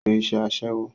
Ó ń ṣe iṣẹ́ Aṣẹ́wó